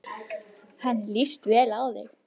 Henni líst vel á þig.